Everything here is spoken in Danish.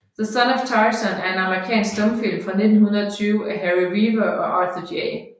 The Son of Tarzan er en amerikansk stumfilm fra 1920 af Harry Revier og Arthur J